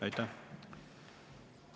Aitäh!